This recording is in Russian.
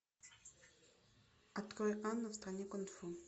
открой анна в стране кунг фу